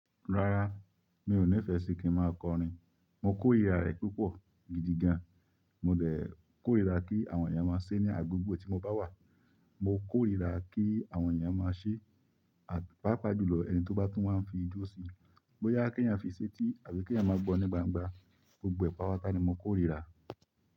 Rárá, mi ò ní fẹ sí kí n máa kọrin. Mo kórìíra rẹ̀ púpọ̀ gidi gan. Mo lè kórìíra kí àwọn èèyàn máa ṣe ní agbègbè tí mo bá wà. Mo kórìíra kí àwọn èèyàn máa ṣe, àti pá pa jùlọ ẹni tó bá tún wá fi jó síi. Bóyá kí ẹ̀yàn fi í ṣetí àbí kí ẹ̀yàn máa gbọ́ ní gbangba, gbogbo ẹ̀ patápatá ni mo kórìíra.